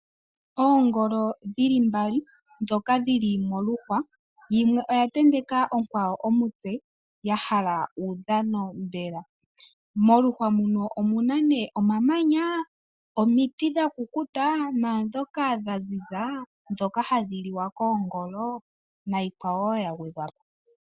Oongolo dhili mbali dhoka dhili moluhwa yimwe oya ntenteka onkwawo omutse ya hala uudhano mbela, moluhwa muno omuna nee omamanya, omiti dha kukuta naadhoka dha ziza dhoka hadhi liwa koongolo nayikwawo wo ya gwedhwapo